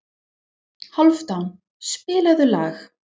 Hálfdán, spilaðu lag.